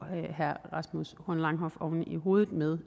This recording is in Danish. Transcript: herre rasmus horn langhoff oven i hovedet med